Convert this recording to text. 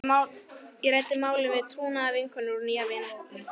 Ég ræddi málið við trúnaðarvinkonu úr nýja vinahópnum.